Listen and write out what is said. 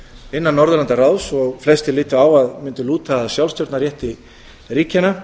innan norðurlandaráðs og flestir litu á að mundu lúta að sjálfsstjórnarrétti ríkjanna